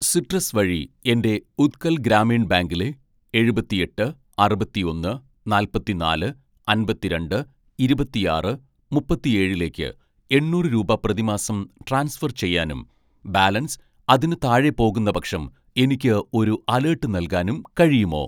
citrus വഴി എൻ്റെ ഉത്കൽ ഗ്രാമീൺ ബാങ്കിലെ എഴുപത്തിയെട്ട് അറുപത്തിയൊന്ന് നാല്പത്തിനാല് അമ്പത്തിരണ്ട് ഇരുപത്തിയാറ് മുപ്പത്തിയേഴിലേക്ക് എണ്ണൂറ് രൂപ പ്രതിമാസം ട്രാൻസ്ഫർ ചെയ്യാനും ബാലൻസ് അതിന് താഴെ പോകുന്നപക്ഷം എനിക്ക് ഒരു അലേട്ട് നൽകാനും കഴിയുമോ